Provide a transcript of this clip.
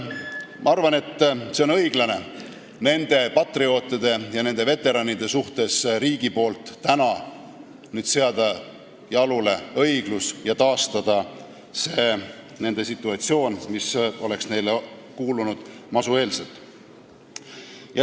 Ma arvan, et on õiglane nende patriootide, nende veteranide suhtes õiglus jalule seada ja võtta nende pensioni aluseks situatsioon, mis oli enne masu.